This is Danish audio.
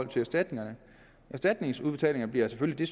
til erstatningerne erstatningsudbetalinger bliver selvfølgelig